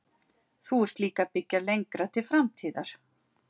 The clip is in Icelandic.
Þú ert líka að byggja lengra til framtíðar?